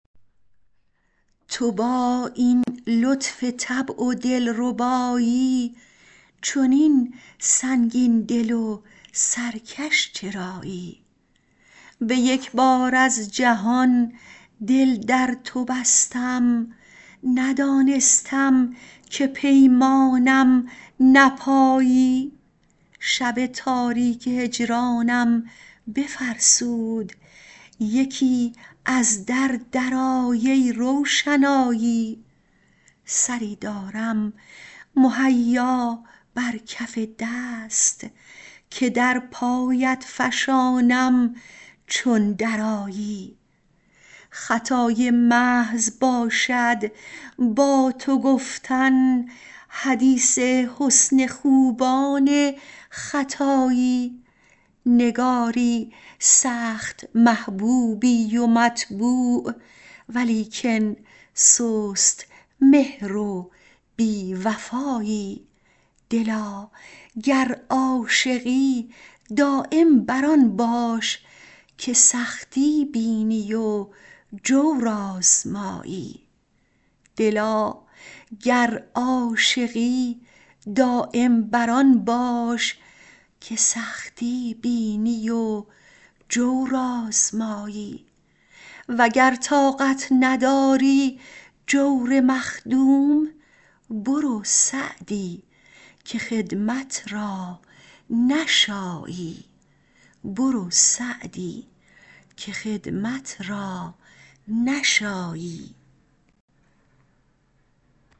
تو با این لطف طبع و دل ربایی چنین سنگین دل و سرکش چرایی به یک بار از جهان دل در تو بستم ندانستم که پیمانم نپایی شب تاریک هجرانم بفرسود یکی از در درآی ای روشنایی سری دارم مهیا بر کف دست که در پایت فشانم چون درآیی خطای محض باشد با تو گفتن حدیث حسن خوبان ختایی نگاری سخت محبوبی و مطبوع ولیکن سست مهر و بی وفایی دلا گر عاشقی دایم بر آن باش که سختی بینی و جور آزمایی و گر طاقت نداری جور مخدوم برو سعدی که خدمت را نشایی